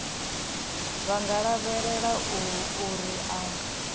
vha nga lavhelela uri a